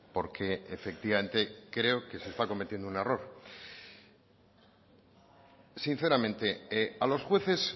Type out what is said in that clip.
porque efectivamente creo que se está cometiendo un error sinceramente a los jueces